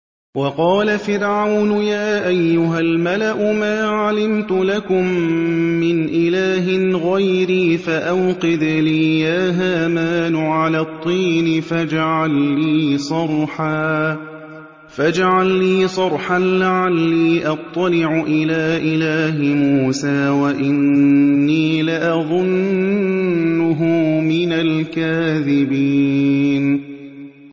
وَقَالَ فِرْعَوْنُ يَا أَيُّهَا الْمَلَأُ مَا عَلِمْتُ لَكُم مِّنْ إِلَٰهٍ غَيْرِي فَأَوْقِدْ لِي يَا هَامَانُ عَلَى الطِّينِ فَاجْعَل لِّي صَرْحًا لَّعَلِّي أَطَّلِعُ إِلَىٰ إِلَٰهِ مُوسَىٰ وَإِنِّي لَأَظُنُّهُ مِنَ الْكَاذِبِينَ